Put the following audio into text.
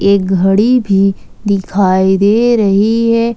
घड़ी भी दिखाई दे रही है।